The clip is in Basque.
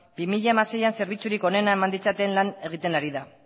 bi mila hamaseian zerbitzurik onena eman ditzaten lan egiten ari da